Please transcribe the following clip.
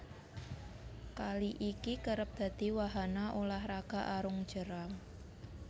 Kali iki kerep dadi wahana ulah raga arung jeram